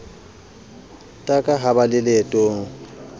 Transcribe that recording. taka ha ba le leetong